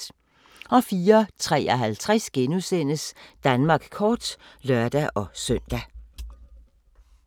04:53: Danmark kort *(lør-søn)